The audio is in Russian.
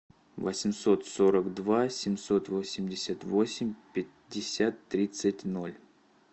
восемьсот сорок два семьсот восемьдесят восемь пятьдесят тридцать ноль